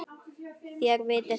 Þér vitið það.